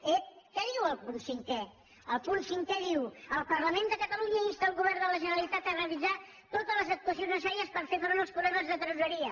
ep què diu el punt cinquè el punt cinquè diu el parlament de catalunya insta el govern de la generalitat a realitzar totes les actuacions necessàries per fer front als problemes de tresoreria